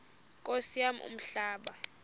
nkosi yam umhlaba